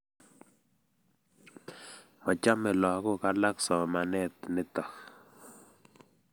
Machame lagok alak somanet nitok